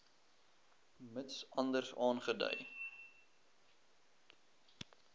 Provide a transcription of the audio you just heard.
mits anders aangedui